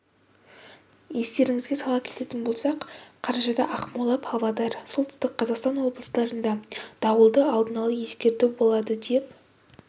естеріңізге сала кететін болсақ қарашада ақмола павлодар солтүстік қазақстан облыстарында дауылды алдын ала ескерту болады деп